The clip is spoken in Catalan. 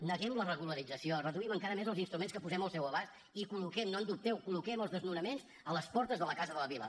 neguem la regularització reduïm encara més els instruments que posem al seu abast i col·loquem no en dubteu els desnonaments a les portes de la casa de la vila